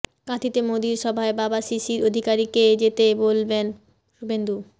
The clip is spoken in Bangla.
কাঁথিতে মোদির সভায় বাবা শিশির অধিকারীকে যেতে বলবেন শুভেন্দু